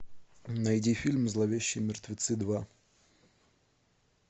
найди фильм зловещие мертвецы два